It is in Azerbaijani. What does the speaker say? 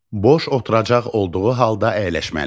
Boş oturacaq olduğu halda əyləşməli.